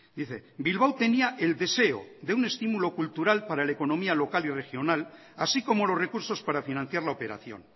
dice bilbao tenía el deseo de un estímulo cultural para la economía local y regional así como los recursos para financiar la operación